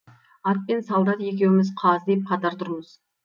ат пен солдат екеуміз қаздиып қатар тұрмыз